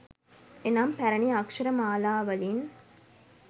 එනම්, පැරැණි අක්ෂර මාලාවලින්